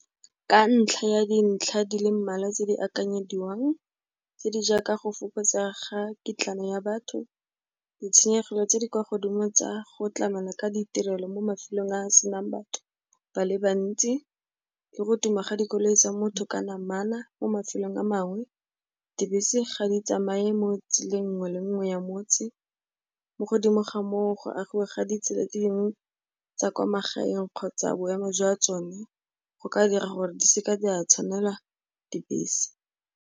Ka ntlha ya dintlha di le mmalwa tse di akanyediwang, tse di jaaka go fokotsa ga kutlwano ya batho, ditshenyegelo tse di kwa godimo tsa go tlamela ka ditirelo mo mafelong a a senang batho ba le bantsi le go tuma ga dikoloi tsa motho ka namana mo mafelong a mangwe, dibese ga di tsamaye mo tseleng nngwe le nngwe ya motse, mo godimo ga moo, go agiwe ga ditsela dingwe tsa kwa magaeng kgotsa boemo jwa tsone go ka dira gore di seke di a tshwanelwa dibese.